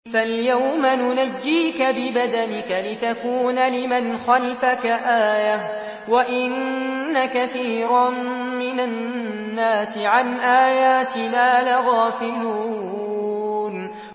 فَالْيَوْمَ نُنَجِّيكَ بِبَدَنِكَ لِتَكُونَ لِمَنْ خَلْفَكَ آيَةً ۚ وَإِنَّ كَثِيرًا مِّنَ النَّاسِ عَنْ آيَاتِنَا لَغَافِلُونَ